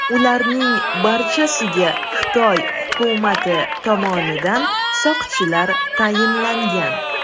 Ularning barchasiga Xitoy hukumati tomonidan soqchilar tayinlangan.